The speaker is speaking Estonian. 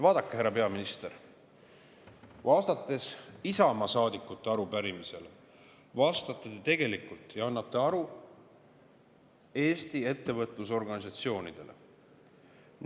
Vaadake, härra peaminister, vastates Isamaa saadikute arupärimisele vastate te tegelikult ja annate aru Eesti ettevõtlusorganisatsioonidele.